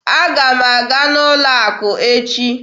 Aga m aga n'ụlọ akụ echi